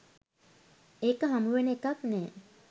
ඒක හමුවෙන එකක් නෑ.